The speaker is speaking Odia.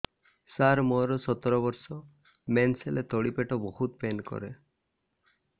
ସାର ମୋର ସତର ବର୍ଷ ମେନ୍ସେସ ହେଲେ ତଳି ପେଟ ବହୁତ ପେନ୍ କରେ